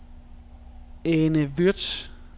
Ane Würtz